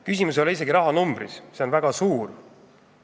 Küsimus ei ole isegi rahanumbris, see on väga suur.